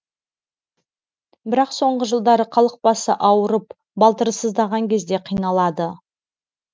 бірақ соңғы жылдары халық басы ауырып балтыры сыздаған кезде қиналады